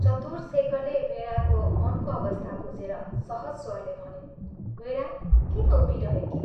चतुर शेखरले वीणाको मनको अवस्था बुझेर सहज स्वरले भन्यो, " वीणा किन उभिरहेकी?